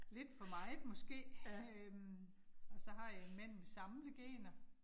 Lidt for meget måske. Øh og så har jeg en mand med samlegener